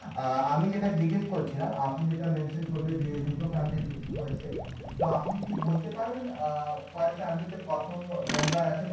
অ্যাঁ আমি যেটা জিজ্ঞেস করছিলাম আপনি যেটা করলেন যে দুটো এর হয়েছে তো আপনি কি বলতে পারবেন অ্যাঁ তে কতো আছে?